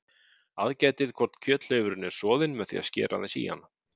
Aðgætið hvort kjöthleifurinn er soðinn með því að skera aðeins í hann.